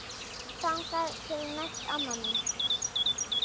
Þangað til næst amma mín.